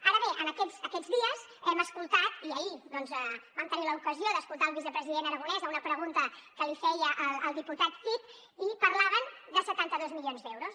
ara bé aquests dies hem escoltat i ahir doncs vam tenir l’ocasió d’escoltar el vice president aragonès a una pregunta que li feia el diputat cid i parlaven de setanta dos milions d’euros